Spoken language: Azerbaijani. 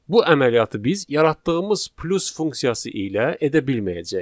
Bu əməliyyatı biz yaratdığımız plus funksiyası ilə edə bilməyəcəyik.